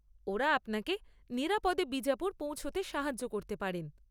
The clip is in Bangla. ওঁরা আপনাকে নিরাপদে বিজাপুর পৌঁছতে সাহায্য করতে পারেন।